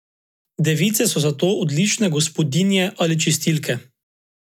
Device so zato odlične gospodinje ali čistilke.